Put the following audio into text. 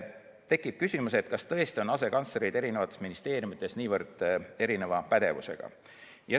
Tekib küsimus, kas tõesti on asekantslerid eri ministeeriumides nii erineva pädevusega.